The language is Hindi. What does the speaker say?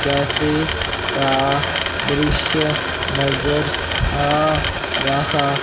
कैफे का दृश्य नजर आ रहा--